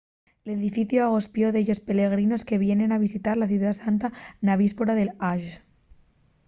l’edificiu agospió dellos pelegrinos que veníen a visitar la ciudá santa na víspora del ḥajj